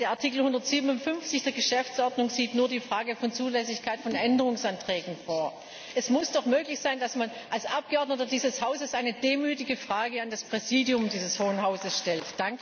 Denn der Artikel 157 der Geschäftsordnung sieht nur die Frage der Zulässigkeit von Änderungsanträgen vor. Es muss doch möglich sein, dass man als Abgeordneter dieses Hauses eine demütige Frage an das Präsidium dieses Hohen Hauses stellt!